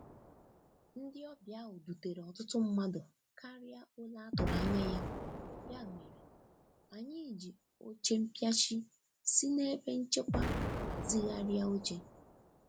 Ndị ọbịa ahu dutere ọtụtụ mmadụ karịa óle a tụrụ anya ya, ya mere, anyị ji oche mpịachi si n'ebe nchekwa hazigharịa oche.